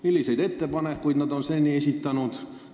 Milliseid ettepanekuid nad on seni esitanud?